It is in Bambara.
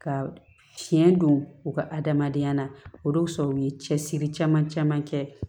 Ka tiɲɛ don u ka adamadenya la o de y'u sɔrɔ u ye cɛsiri caman caman kɛ